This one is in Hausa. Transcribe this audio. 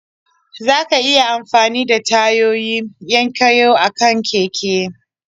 za ka iya amfani da tayoyi 'yan koyo akan keke.